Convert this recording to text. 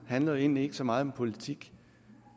handler egentlig ikke så meget om politik